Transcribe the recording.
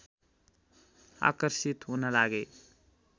आकर्षित हुन लागे